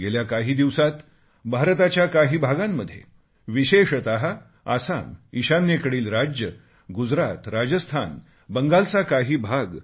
गेल्या काही दिवसांत भारताच्या काही भागांमध्ये विशेषत आसाम ईशान्येकडील राज्ये गुजरात राजस्थान बंगालचा काही भाग